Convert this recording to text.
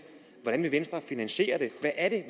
hvordan vil venstre finansiere det hvad er det